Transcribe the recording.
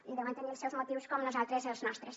i deuen tenir els seus motius com nosaltres els nostres